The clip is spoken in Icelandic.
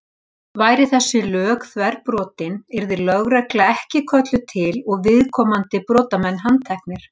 Væru þessi lög þverbrotin yrði lögregla ekki kölluð til og viðkomandi brotamenn handteknir.